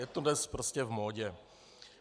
Je to dnes prostě v módě.